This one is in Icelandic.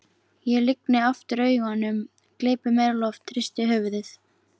Ég lygni aftur augunum, gleypi meira loft, hristi höfuðið.